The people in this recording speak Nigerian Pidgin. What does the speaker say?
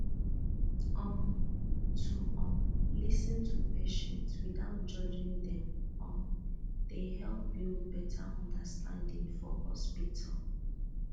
um to um lis ten to patients without judging dem um dey help build better understanding for hospital